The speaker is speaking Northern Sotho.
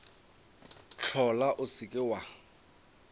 hlola o se ke wa